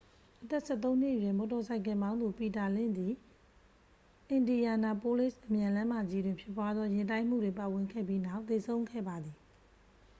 အသက်-၁၃-နှစ်အရွယ် မော်တော်ဆိုင်ကယ်မောင်းသူ ပီတာလင့်ဇ်သည် အင်ဒီယာနာပိုးလစ် အမြန်လမ်းမကြီးတွင်ဖြစ်ပွားသော ယာဉ်တိုက်မှုတွင်ပါဝင်ခဲ့ပြီးနောက် သေဆုံးခဲ့ပါသည်။